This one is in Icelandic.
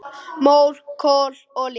Mór, kol, olía